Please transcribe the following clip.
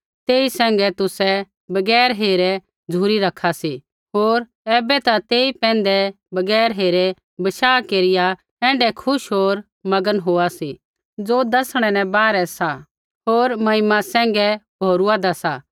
तेई सैंघै तुसै बगैर हेरै झ़ुरी रखा सी होर ऐबै ता तेई पैंधै बगैर हेरै बशाह केरिया ऐण्ढै खुश होर मगन होआ सी ज़ो दसणै न बाहरै सा होर महिमा सैंघै भौरूआन्दा सा